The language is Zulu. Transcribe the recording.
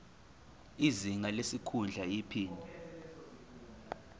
izinga lesikhundla iphini